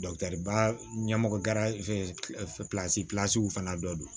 baara ɲɛmɔgɔ gar fana dɔ don